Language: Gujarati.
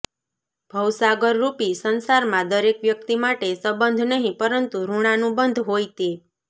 ભવસાગરરૂપી સંસારમાં દરેક વ્યક્તિ માટે સંબંધ નહિ પરંતુ ઋણાનુબંધ હોય તે